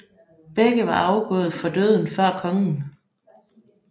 Begge var afgået for døden før kongen